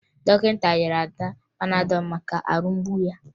Dọkịta nyere Ada panadọ maka ahụ mgbu ya